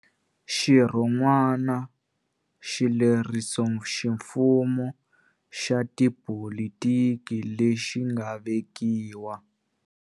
Xirhonwana xilerisoximfumo xa tipolitiki lexi nga vekiwa.